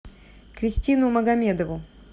кристину магомедову